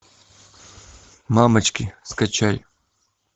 мамочки скачай